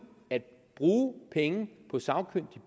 og bruge penge på sagkyndig